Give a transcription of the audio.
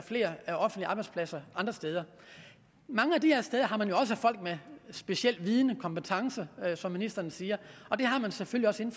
flere offentlige arbejdspladser andre steder mange af de her steder har man jo også folk med speciel viden og kompetence som ministeren siger og det har man selvfølgelig